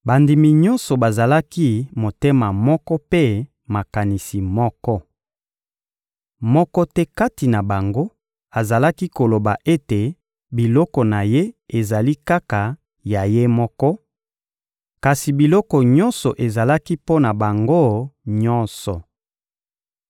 Bandimi nyonso bazalaki motema moko mpe makanisi moko. Moko te kati na bango azalaki koloba ete biloko na ye ezali kaka ya ye moko, kasi biloko nyonso ezalaki mpo na bango nyonso.